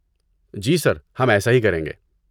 جی sir, ہم ایسا ہی کریں گے۔